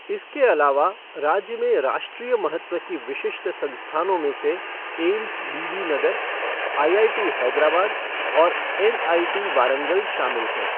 इसके अलावा, राज्य में राष्ट्रीय महत्व की विशिष्ट संस्थानों में एम्स बीबीनगर, आईआईटी हैदराबाद और एनआईटी वारंगल शामिल हैं।